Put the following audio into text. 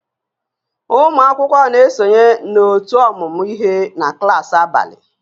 Ụmụ akwụkwọ na-esonye na ótú ọmụmụ ihe na klaasị abalị